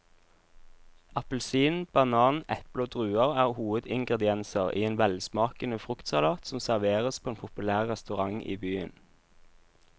Appelsin, banan, eple og druer er hovedingredienser i en velsmakende fruktsalat som serveres på en populær restaurant i byen.